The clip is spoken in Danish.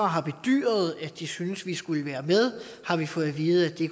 har bedyret at de syntes vi skulle være med har vi fået at vide at det